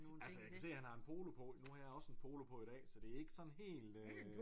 Altså jeg kan se han har en polo på nu har jeg også en polo på i dag så det er ikke sådan helt øh